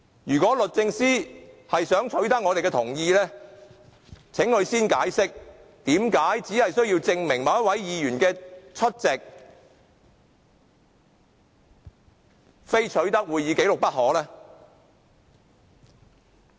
如果律政司想取得我們的同意，請他先解釋何以只為證明某位議員的出席，也非要取得會議紀錄不可呢？